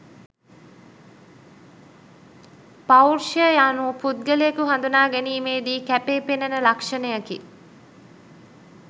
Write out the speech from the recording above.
පෞරුෂය යනු පුද්ගලයකු හඳුනා ගැනීමේ දී කැපීපෙනෙන ලක්ෂණයකි.